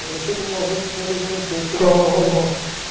Mas você como avô se realizou um pouco.